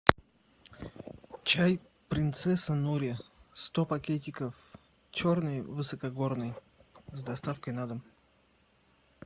чай принцесса нури сто пакетиков черный высокогорный с доставкой на дом